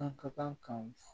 An ka kan